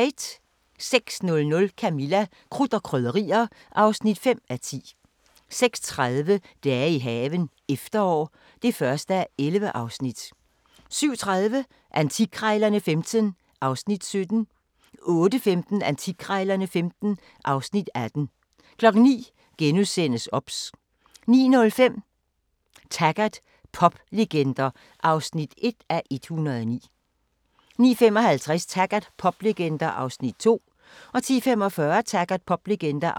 06:00: Camilla – Krudt og Krydderier (5:10) 06:30: Dage i haven – efterår (1:11) 07:30: Antikkrejlerne XV (Afs. 17) 08:15: Antikkrejlerne XV (Afs. 18) 09:00: OBS * 09:05: Taggart: Poplegender (1:109) 09:55: Taggart: Poplegender (2:109) 10:45: Taggart: Poplegender